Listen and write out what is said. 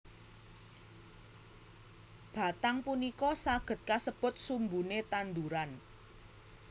Batang punika saged kasebut sumbune tanduran